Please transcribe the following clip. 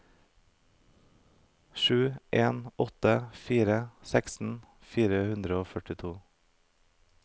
sju en åtte fire sekstien fire hundre og førtito